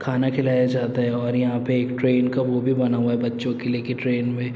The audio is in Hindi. खाना खिलाया जाता है और यहाँ पे एक ट्रेन का वो भी बना हुआ है कि बच्चों के लिए ट्रेन में --